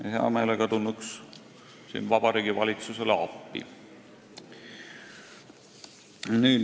Oleksime hea meelega tulnud siin Vabariigi Valitsusele appi.